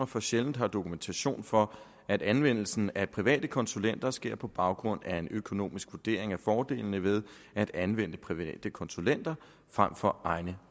for sjældent har dokumentation for at anvendelsen af private konsulenter sker på baggrund af en økonomisk vurdering af fordelene ved at anvende private konsulenter frem for egne